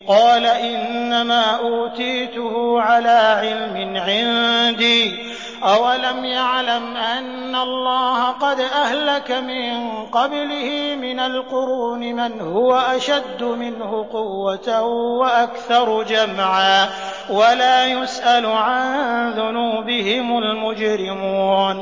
قَالَ إِنَّمَا أُوتِيتُهُ عَلَىٰ عِلْمٍ عِندِي ۚ أَوَلَمْ يَعْلَمْ أَنَّ اللَّهَ قَدْ أَهْلَكَ مِن قَبْلِهِ مِنَ الْقُرُونِ مَنْ هُوَ أَشَدُّ مِنْهُ قُوَّةً وَأَكْثَرُ جَمْعًا ۚ وَلَا يُسْأَلُ عَن ذُنُوبِهِمُ الْمُجْرِمُونَ